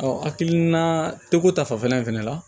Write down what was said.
hakilina te ko ta fanfɛla in fɛnɛ la